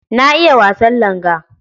Na iya wasan langa.